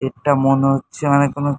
এটা মনে হচ্ছে মানে কোনো--